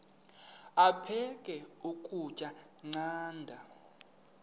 aphek ukutya canda